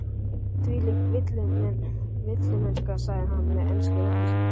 Þvílík villimennska, sagði hann með ensku röddinni sinni.